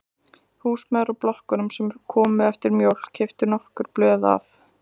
Húsmæður úr blokkunum sem komu eftir mjólk keyptu nokkur blöð af